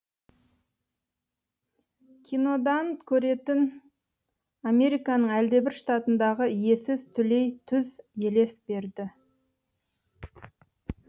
кинодан көретін американың әлдебір штатындағы иесіз түлей түз елес берді